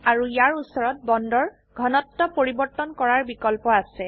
আৰু ইয়াৰ উচৰত বন্ডৰ ঘনত্ব পৰিবৰ্তন কৰাৰ বিকল্প আছে